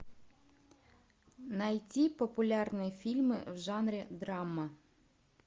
найти популярные фильмы в жанре драма